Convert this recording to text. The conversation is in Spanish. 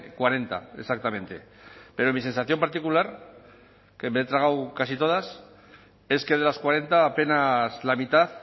cuarenta exactamente pero mi sensación particular que me he tragado casi todas es que de las cuarenta apenas la mitad